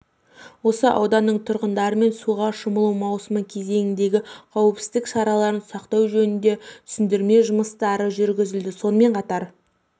осы ауданның тұрғындарымен суға шомылу маусымы кезеңіндегі қауіпсіздік шараларын сақтау жөнінде түсіндірме жұмыстары жүргізілді сонымен қатар